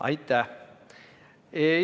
Aitäh!